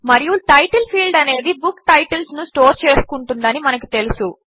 మరియు title field అనేది book titles ను స్టోర్ చేసుకుంటుంది అని మనకు తెలుసు